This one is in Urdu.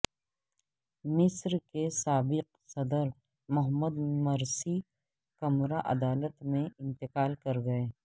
مصر کے سابق صدر محمد مرسی کمرہ عدالت میں انتقال کرگئے